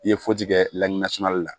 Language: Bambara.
I ye fɔji kɛ laginɛ sumanli la